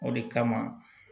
O de kama